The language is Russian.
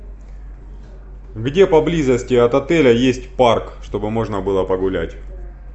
где поблизости от отеля есть парк чтобы можно было погулять